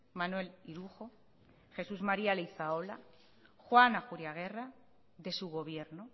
manuel irujo jesús maría leizaola juan ajuriaguerra de su gobierno